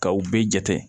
Kaw bɛɛ jate